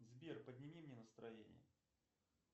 сбер подними мне настроение